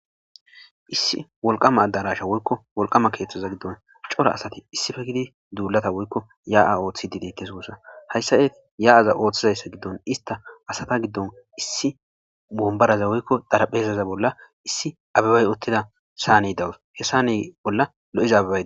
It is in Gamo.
Issi wolqama addarasha woykko wolqama keeththaza giddon cora asati issife gidi duulata woykko ya7a ooththi didettesowussa hayssa yeeti ya7aza ooththizayssa giddon ista asata giddon issi bombaraza woykko daraphezaza bolla issi abebay uttida saa ne dawus hessa ne bolla lo7ezaaai